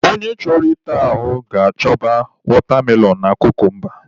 Onye chọrọ ịta ahụ ga-achọba watermelon na kukumba